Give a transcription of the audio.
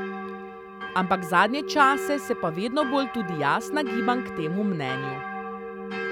Ampak zadnje čase se pa vedno bolj tudi jaz nagibam k temu mnenju.